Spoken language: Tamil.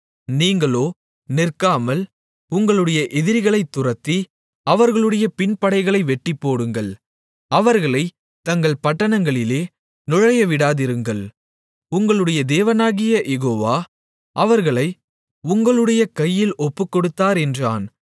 நீங்களோ நிற்காமல் உங்களுடைய எதிரிகளைத் துரத்தி அவர்களுடைய பின்படைகளை வெட்டிப்போடுங்கள் அவர்களைத் தங்கள் பட்டணங்களிலே நுழையவிடாதிருங்கள் உங்களுடைய தேவனாகிய யெகோவா அவர்களை உங்களுடைய கையில் ஒப்புக்கொடுத்தார் என்றான்